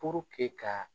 ka